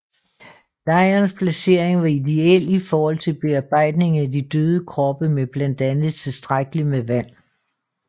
Lejrens placering var ideel i forhold til bearbejdning af de døde kroppe med blandt andet tilstrækkeligt med vand